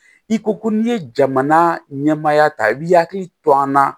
I ko ko n'i ye jamana ɲɛmaaya ta i bi hakili to an na